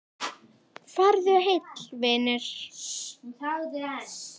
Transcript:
Farðu heill, vinur.